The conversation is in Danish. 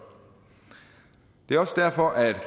det er også derfor at